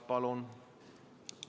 Palun!